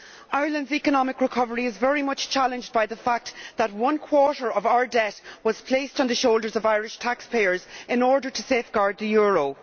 Ireland's economic recovery is very much challenged by the fact that one quarter of our debt was placed on the shoulders of Irish taxpayers in order to safeguard the euro.